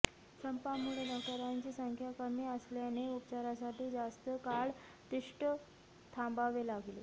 संपामुळे डॉक्टरांची संख्या कमी असल्याने उपचारासाठी जास्त काळ तिष्ठत थांबावे लागले